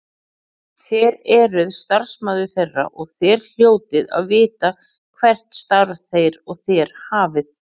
Þér eruð starfsmaður þeirra og þér hljótið að vita hvert starf þeir og þér hafið.